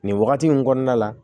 Nin wagati in kɔnɔna la